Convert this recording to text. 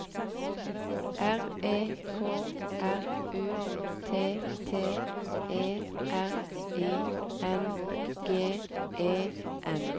R E K R U T T E R I N G E N